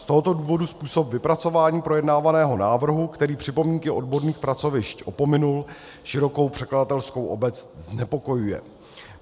Z tohoto důvodu způsob vypracování projednávaného návrhu, který připomínky odborných pracovišť opominul, širokou překladatelskou obec znepokojuje.